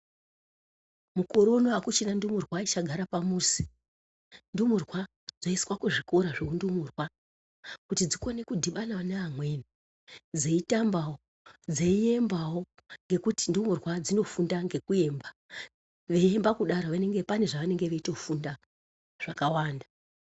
Mukore uno hakuchina ndumurwa ichagara pamuzi. Ndumurwa dzoiswa kuzvikora zveundumurwa kuti dzikone kudhibana neamweni. Dzeitambavo dzeiembavo ngekuti ndumurwa dzinofunda ngekuemba. Veiemba kudaro pane zvavanenge veitofunda zvakawanda.